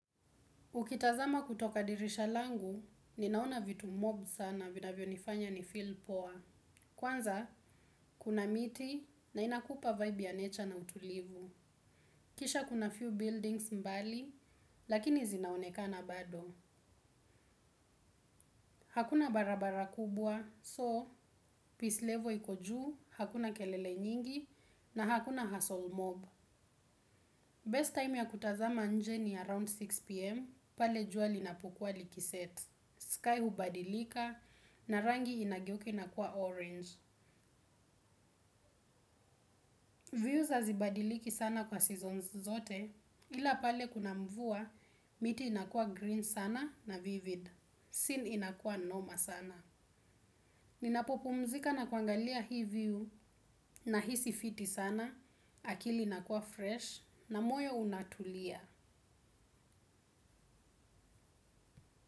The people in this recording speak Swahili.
Ukitazama kutoka dirisha langu, ninaona vitu mob sana vinavyo nifanya ni feel poa. Kwanza, kuna miti na inakupa vibe ya nature na utulivu. Kisha kuna few buildings mbali, lakini zinaonekana bado. Hakuna barabara kubwa, so, peace level iko juu, hakuna kelele nyingi, na hakuna hassle mob. Best time ya kutazama nje ni around 6pm, pale juali napukwa likiset. Sky hubadilika na rangi inageuka na kuwa orange. Views hazibadiliki sana kwa seasons zote ilapale kuna mvua miti inakua green sana na vivid. Scene inakua noma sana. Ninapopumzika na kuangalia hiview nahisi fiti sana akili inakua fresh na moyo unatulia.